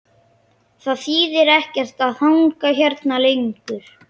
Það þýðir ekkert að hanga hérna lengur.